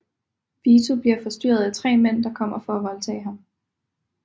Vito bliver forstyrret af tre mænd der kommer for at voldtage ham